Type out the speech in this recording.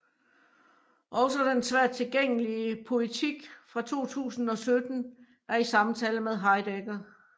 Også den svært tilgængelige Poetik fra 2017 er i samtale med Heidegger